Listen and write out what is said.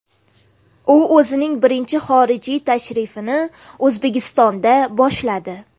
U o‘zining birinchi xorijiy tashrifini O‘zbekistondan boshladi .